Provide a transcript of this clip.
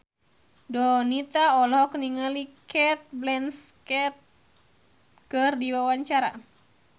Donita olohok ningali Cate Blanchett keur diwawancara